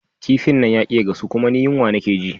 kifin nan yaƙi ya gasu kuma ni yunwa nake ji